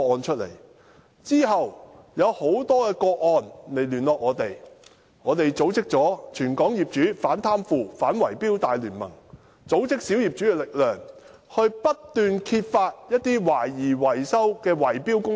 其後，有很多個案的苦主與我們聯絡，我們組織了"全港業主反貪腐反圍標大聯盟"，組織小業主的力量，不斷揭發懷疑圍標的維修工程。